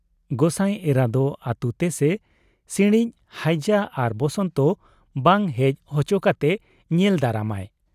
ᱜᱚᱸᱥᱟᱭ ᱮᱨᱟ ᱫᱚ ᱟᱹᱛᱩ ᱛᱮ ᱥᱮ ᱥᱤᱬᱤᱡ (ᱦᱟᱹᱭᱡᱟᱹ ᱟᱨ ᱵᱚᱥᱚᱱᱛᱚ ) ᱵᱟᱝ ᱦᱮᱡ ᱦᱚᱪᱚ ᱠᱟᱛᱮ ᱧᱮᱞ ᱫᱟᱨᱟᱢᱟᱭ ᱾